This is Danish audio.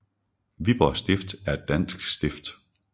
Viborg Stift er et dansk stift